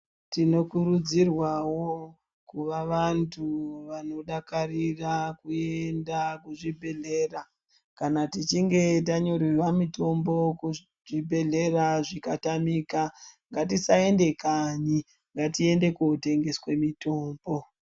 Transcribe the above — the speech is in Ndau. Tinokurudzirwawo kuva vantu vanodakarira kuenda kuzvibhehlera kana tichinge tanyorerwa mutombo kuchibhehlera zvikatamika ngatisaenda kanyi ngatiende kumbatso dzinotengese mutombo.